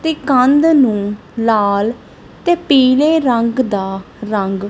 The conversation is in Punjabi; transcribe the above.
ਤੇ ਕੰਧ ਨੂੰ ਲਾਲ ਤੇ ਪੀਲੇ ਰੰਗ ਦਾ ਰੰਗ --